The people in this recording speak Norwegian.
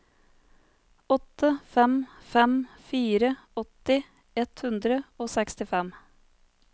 åtte fem fem fire åtti ett hundre og sekstifem